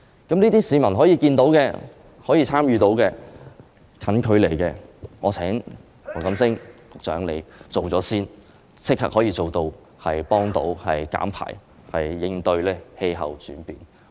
這些就是市民可以看到、可以參與的短期措施，我請黃錦星局長先推行，立即可以減碳，應對氣候變化。